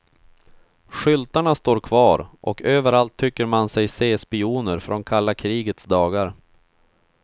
Skyltarna står kvar och överallt tycker man sig se spioner från kalla krigets dagar.